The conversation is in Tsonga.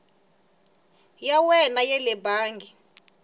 ya wena ya le bangi